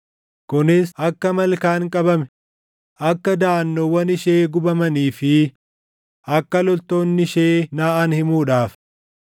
kunis akka malkaan qabame, akka daʼannoowwan ishee gubamanii fi akka loltoonni ishee naʼan himuudhaaf.”